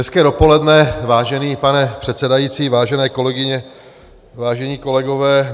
Hezké dopoledne, vážený pane předsedající, vážené kolegyně, vážení kolegové.